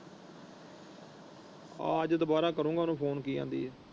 ਹਾਂ ਅੱਜ ਦੁਬਾਰਾ ਕਰੋਗਾ ਉਹਨੂੰ ਫੋਨ ਕਿ ਕਹਿੰਦੀ ਹੈ।